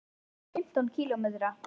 Við keyrum fimmtán kílómetra.